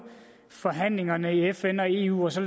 forhandlingerne i fn og eu og så